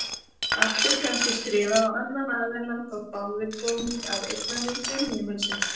Allt er kannski skrifað á annan aðilann þótt báðir komi að eignamyndun heimilisins.